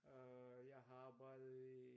Øh jeg har arbejdet i